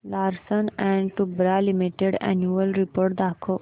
Larsen and टुर्बो limited annual report दाखव